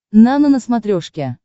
нано на смотрешке